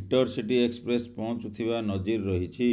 intercity express ପହଂଚୁଥିବା ନଜିର ରହିଛି